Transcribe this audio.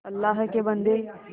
अल्लाह के बन्दे